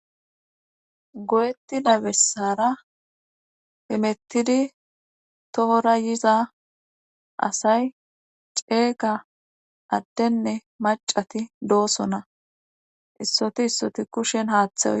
go7etti nabessara hemettidi toora yiza asay ceega addenne macati doosona issoti issoti kushen haaththawo